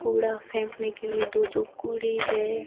कूड़ा फेंकने के लिए दो दो कूड़े है।